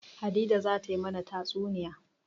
Hadiza za ta yi mana tatsuniya.